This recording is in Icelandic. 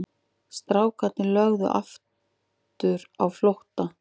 Strákarnir lögðu aftur á flótta.